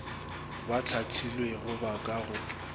ba hlahlilwego ba ka go